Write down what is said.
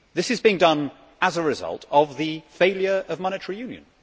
This is being done as a result of the failure of monetary union.